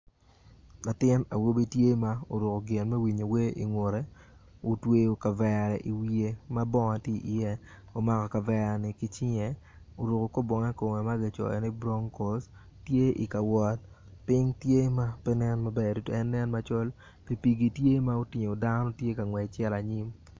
Latin awobi tye ma oruko gin me winyo wer ingute otweyo kavere iwiye ma bongo tye i iye oamko kavere ni ki cinge oruko kor bongo ma kicoyo ni bronkos tye kawot piny tye ma pe nen maber tutwal nen macol pikipiki tye ma otingo dano tye kangwec cito anyim